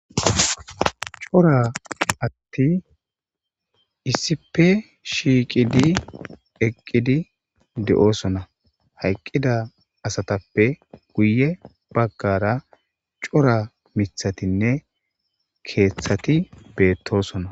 Cora asatti issipe shiiqidi eqqidi de7oosona hayqqida asatappe guye baggara cora mithatinne keeththati beettosona.